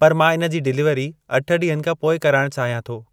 पर मां इन जी डिलीवरी अठ ॾींहनि खां पोइ कराइण चाहियां थो।